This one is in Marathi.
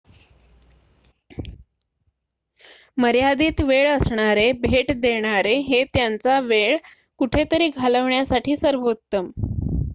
मर्यादित वेळ असणारे भेट देणारे हे त्यांचा वेळ कुठेतरी घालवण्यासाठी सर्वोत्तम